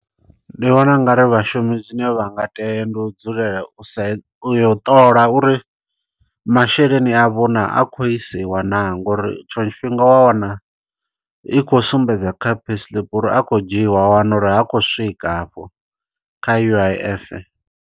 Ndi vhona ungari vhashumi zwine vha nga tea, ndi u dzulela usa, u yo ṱola uri masheleni avho naa, a khou isiwa naa. Ngo uri tshiṅwe tshifhinga wa wana, i khou sumbedza kha pay slip uri a khou dzhiiwa, wa wana uri ha khou swika afho kha U_I_F.